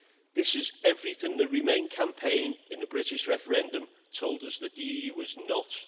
This is everything the Remain campaign in the British referendum told us that the EU was not.